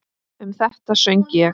Um þetta söng ég